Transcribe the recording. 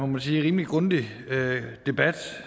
man sige rimelig grundig debat